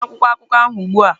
Tusaa akwụkwọ akụkọ ahụ ugbu a!